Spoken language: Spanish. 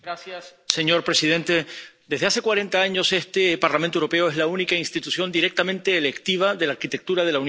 Señor presidente, desde hace cuarenta años, este Parlamento Europeo es la única institución directamente electiva de la arquitectura de la Unión.